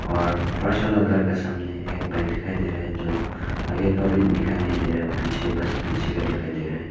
और फर्श वाला घर का सामने एक बाइक दिखाई दे रहे है जो आगे का भी दिखाई नहीं दे रहा पीछे बस पीछे का दिखाई दे रहा है।